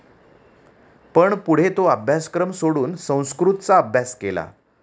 पण पुढे तो अभ्यासक्रम सोडून संस्कृतचा अभ्यास केला.